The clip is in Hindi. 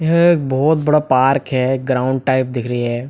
यह एक बहुत बड़ा पार्क है ग्राउंड टाइप दिख रही हैं।